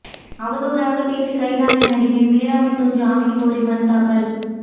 அவதூறாக பேசி கைதான நடிகை மீரா மிதுன் ஜாமீன் கோரி மனுதாக்கல்